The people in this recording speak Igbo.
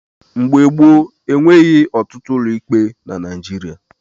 Mgbe gbop, enweghị ọtụtụ ụlọikpe na Naijiria.